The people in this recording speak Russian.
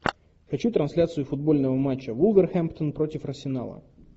хочу трансляцию футбольного матча вулверхэмптон против арсенала